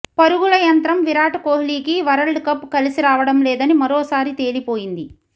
పరుగుల యంత్రం విరాట్ కోహ్లీకి వరల్డ్ కప్ కలసి రావడం లేదని మరోసారి తేలిపోయింది